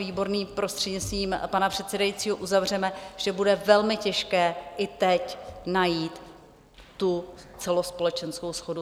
Výborný, prostřednictvím pana předsedajícího, uzavřeme - že bude velmi těžké i teď najít tu celospolečenskou shodu.